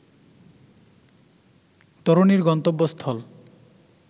তরুণীর গন্তব্যস্থল